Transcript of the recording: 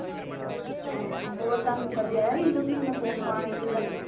ਹਮ ਹੋਰ ਤੁਹਾਨੂੰ ਕਦੇ ਆਇਆ ਸੀ ਫ਼ੋਨ ਫਾਨ ਇਲੁ ਦਾ